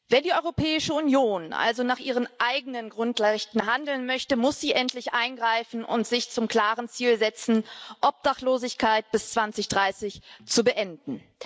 Wenn die Europäische Union also nach ihren eigenen Grundrechten handeln möchte, muss sie endlich eingreifen und sich zum klaren Ziel setzen, Obdachlosigkeit bis 2030 zu beenden!